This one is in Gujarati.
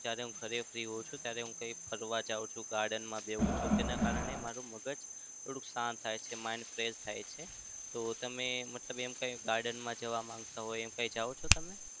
જ્યારે હું ઘરે free હોઉં છું ત્યારે હું કંઈ ફરવા જાઉં છું. graden માં બેસું છું. તેના કારણે મારું મગજ થોડું શાંત mind fresh થાય છે. તો તમે મતલબ કઈ garden માં જવા માંગતા હોય એમ કઈ જાવ છો તમે?